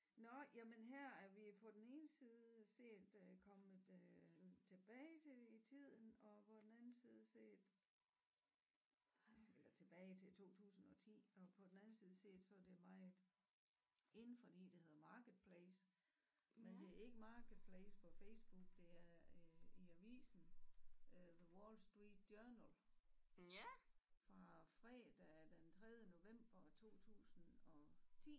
Nåh jamen her er vi på den ene side set øh kommet øh tilbage i tiden og på den anden side set eller tilbage til 2010 og på den anden side set så er det meget in fordi det hedder marketplace men det er ikke marketplace på Facebook det er øh i avisen øh The Wallstreet Journal fra fredag den tredje november 2010